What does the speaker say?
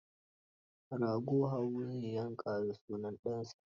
Rago Habu zai yanka da sunan ɗansa